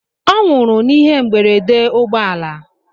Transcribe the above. Ọ nwụrụ n'ihe mberede ụgbọ ala.